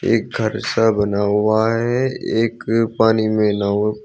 एक घर सा बना हुआ है एक पानी में नाव--